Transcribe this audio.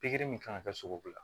Pikiri min kan ka kɛ sugu la